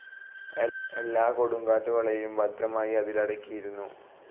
എല്ലാ കൊടുങ്കാറ്റുകളേയും ഭദ്രമായി അതിലടക്കിയിരുന്നു.